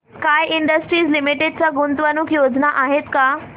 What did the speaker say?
sky Industries Limited च्या गुंतवणूक योजना आहेत का